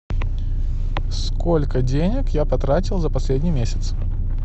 сколько денег я потратил за последний месяц